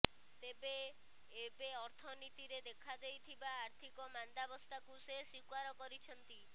ତେବେ ଏବେ ଅର୍ଥନୀତିରେ ଦେଖାଦେଇଥିବା ଆର୍ଥିକ ମାନ୍ଦାବସ୍ଥାକୁ ସେ ସ୍ୱୀକାର କରିଛନ୍ତି